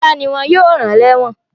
Fọlá ni wọ́n yóò rán lẹ́ẹ́wọ̀n.